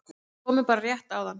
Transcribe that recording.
Við komum bara rétt áðan